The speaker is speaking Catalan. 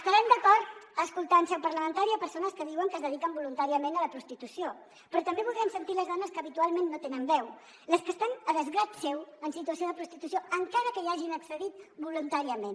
estarem d’acord a escoltar en seu parlamentària persones que diuen que es dediquen voluntàriament a la prostitució però també voldrem sentir les dones que habitualment no tenen veu les que estan a desgrat seu en situació de prostitució encara que hi hagin accedit voluntàriament